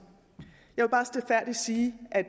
jeg vil bare stilfærdigt sige at